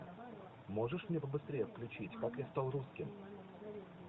можешь мне побыстрее включить как я стал русским